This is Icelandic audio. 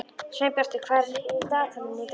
Sveinbjartur, hvað er í dagatalinu í dag?